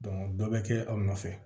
dɔ bɛ kɛ aw nɔfɛ